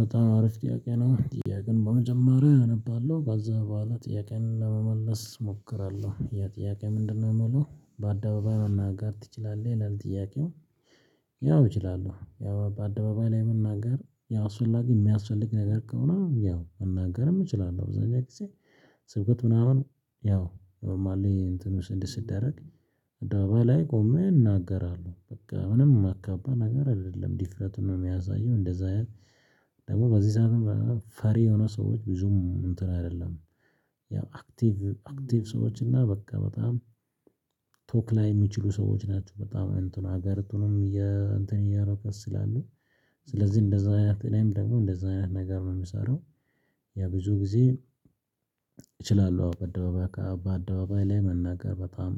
በጣም አሪፍ ጥያቄ ነው ጥያቄን በመጀመሪያ እነባለሁ ከዚያ በኋላ ጥያቄዬን ለመመለስ እሞክራለሁ ያ ጥያቄ ምንድነው? የምለው በአደባባይ መናገር ትችላለህ ይላል ጥያቄው። ያው እችላለሁ ያው በአደባባይ ላይ መናገር ያው አስፈላጊ የሚያስፈልግ ነገር ከሆነ ያው መናገርም እችላለሁአብዛኛው ጊዜ። ስብከት ምናምን ያው ኖርማሊ እንትኑ ስድ ሲደረግ በላይ ቆሜ እናገራለሁ በቃ ምንም የማከብደው ነገር አይደለም ዲፍረቱን ነው የሚያሳየው እንደዛ። ደግሞ በዚህ ሰዓት ፈሪ የሆነ ሰዎች ብዙም እንትን አይደለም። ያው አክቲቭ አክቲቭ ሰዎች እና በቃ በጣም ቶክ ላይ የሚችሉ ሰዎች ናቸው። በጣም እንትኑ ሀገርቱንም እንትን እያረጓት ስላሉ። ስለዚህ እንደዛ አይነት እኔም ደግሞ እንደዛ አይነት ነገር ነው የምሰራው። ያ ብዙ ጊዜ። እችላለሁ አዎ በአደባባይ በአደባባይ ላይ መናገር በጣም